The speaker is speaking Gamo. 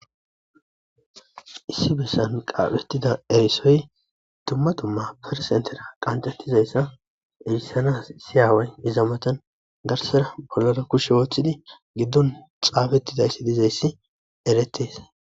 issi bessan qaaphettida erisoy tumma tumma persentera qancettizayssa erisanas siyaaway hizamatan garsera bollara kushe wooththidi giddon xaabettidayssi dizayssi eretes